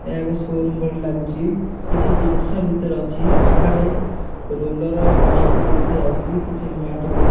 ଏହା ଏକ ସ୍ବିମ ପରି ଲାଗୁଛି। କିଛି ଜିନିଷ ଭିତରେ ଅଛି ବାହାରେ ରୋଲର ପାଇପି ବି ଦେଖାଯାଉଚି। କିଛି ମ୍ୟାଟ ବି ଦେଖ --